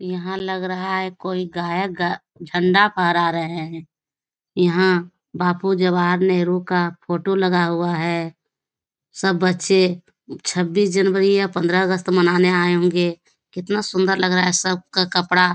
यहाँ लग रहा है कोई गायक झण्डा फहरा रहे हैं यहाँ बापू जवाहर नेहरू का फोटो लगा हुआ है सब बच्चे छब्बीस जनवरी या पंद्रह अगस्त मनाने आए होंगे कितना सुंदर लग रहा है सब का कपड़ा --